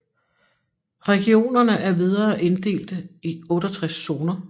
Regionerne er videre inddelte i 68 zoner